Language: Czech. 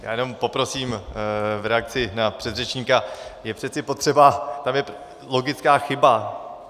Já jenom poprosím v reakci na předřečníka, je přece potřeba - tam je logická chyba.